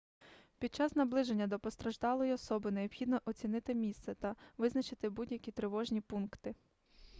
під час наближення до постраждалої особи необхідно оцінити місце та визначити будь-які тривожні пункти